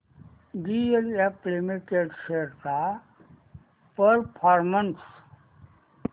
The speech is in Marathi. डीएलएफ लिमिटेड शेअर्स चा परफॉर्मन्स